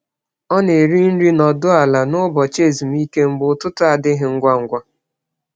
Ọ na-eri nri nọdụ ala n’ụbọchị ezumike mgbe ụtụtụ adịghị ngwa ngwa.